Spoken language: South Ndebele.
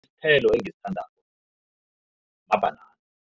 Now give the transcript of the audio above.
Isithelo engisithandako mabhanana.